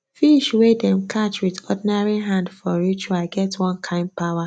fish wey dem catch with ordinary hand for ritual get one kind power